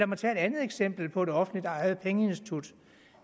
mig tage et andet eksempel på et offentligt ejet pengeinstitut